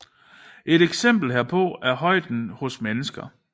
Et eksempel herpå er højde hos mennesker